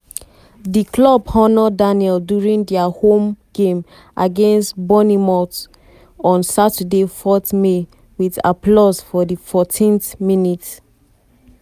di club honour daniel during dia home game against bournemouth bournemouth on saturday 4 may wit applause for di 14th minute.